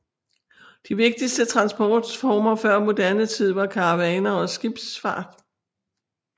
De vigtigste transportformer før moderne tid var karavaner og skibsfart